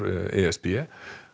e s b